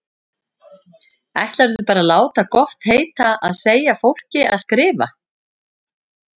Ætlarðu bara að láta gott heita að segja fólki að skrifa!